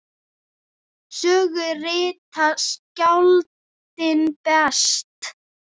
Sögu rita skáldin best.